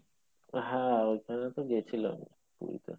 হ্যাঁ ওইখানে তো গেছিলাম পুরীতে